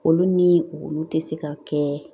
Olu ni olu te se ka kɛ